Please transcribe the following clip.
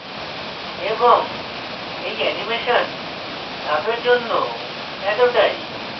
এবং এই অ্যানিমেশন ধাপের জন্য এতটাই